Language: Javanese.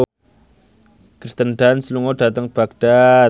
Kirsten Dunst lunga dhateng Baghdad